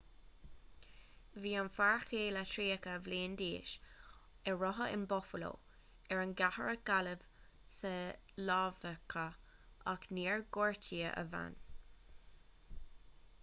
bhí an fear céile tríocha bliain d'aois a rugadh in buffalo ar an gceathrar a cailleadh sa lámhachadh ach níor gortaíodh a bhean